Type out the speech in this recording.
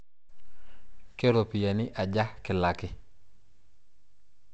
Keropiyiani aja kilaki?